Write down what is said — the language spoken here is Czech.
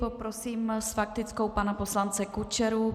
Poprosím s faktickou pana poslance Kučeru.